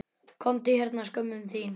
Komdu hérna skömmin þín!